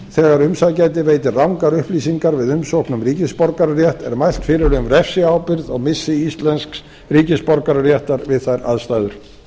þegar umsækjandi veitir rangar upplýsingar við umsókn um ríkisborgararétt er mælt fyrir um refsiábyrgð og missi íslensks ríkisborgararéttar við þær aðstæður